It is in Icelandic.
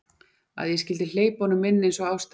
Að ég skyldi hleypa honum inn eins og ástandið var.